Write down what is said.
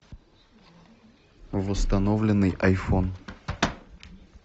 восстановленный айфон